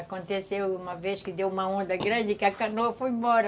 Aconteceu uma vez que deu uma onda grande que a canoa foi embora.